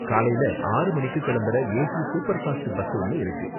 காலைல ஆறு மணிக்கு கிளம்புற ஏசி சூப்பர்ஃபாஸ்ட் பஸ் ஒன்னு இருக்கு.